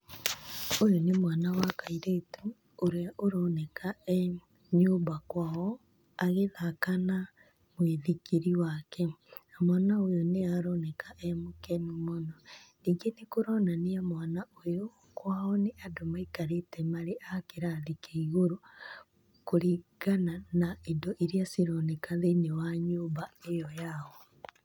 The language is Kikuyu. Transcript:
Ũyũ nĩ mwana wa kairetu, ũrĩa ũroneka e nyũmba kwao, agĩthaka na mũithikiri wake. Mwana ũyũ nĩ aronekana e mũkenu mũno, ningĩ nĩkũronania mwana ũyũ, kwao nĩ andũ maikarĩte arĩ kĩrathi gĩa igũrũ kũringana na indo irĩa cironeka thĩiniĩ wa nyũmba ĩo yao.